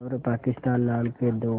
और पाकिस्तान नाम के दो